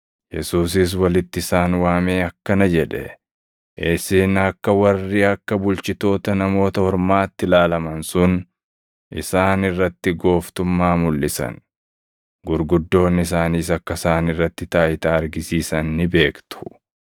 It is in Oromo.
Yesuusis walitti isaan waamee akkana jedhe; “Isin akka warri akka bulchitoota Namoota Ormaatti ilaalaman sun isaan irratti gooftummaa mulʼisan, gurguddoonni isaaniis akka isaan irratti taayitaa argisiisan ni beektu.